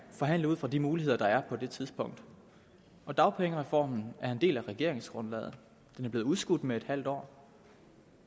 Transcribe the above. forhandle ud fra de muligheder der er på det tidspunkt og dagpengereformen er en del af regeringsgrundlaget den er blevet udskudt med et halvt år